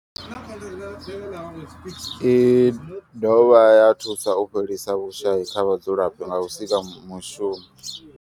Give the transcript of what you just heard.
I dovha ya thusa u fhelisa vhushayi kha vhadzulapo nga u sika mishumo.